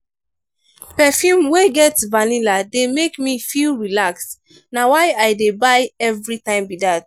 perfume wey get vanilla dey make me feel relaxed. na why i dey buy everytime be dat.